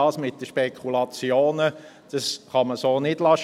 Das mit den Spekulationen kann man so nicht stehen lassen.